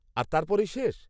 আর তারপরেই শেষ?